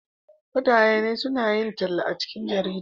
mutane na yin talla a cikin jarida